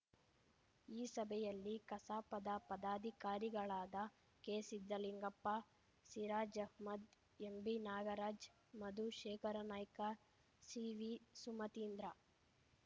ಈ ಸಭೆಯಲ್ಲಿ ಕಸಾಪದ ಪದಾಧಿಕಾರಿಗಳಾದ ಕೆಸಿದ್ದಲಿಂಗಪ್ಪ ಸಿರಾಜ್‌ ಆಹ್ಮದ್‌ ಎಂಬಿನಾಗರಾಜ್‌ ಮಧು ಶೇಖರನಾಯ್ಕ ಸಿವಿಸುಮತೀಂದ್ರ